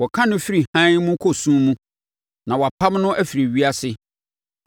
Wɔka no firi hann mu kɔ sum mu na wɔpam no firi ewiase.